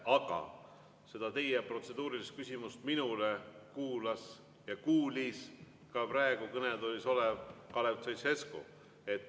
Aga teie protseduurilist küsimust minule kuulas ja kuulis ka praegu kõnetoolis olev Kalev Stoicescu.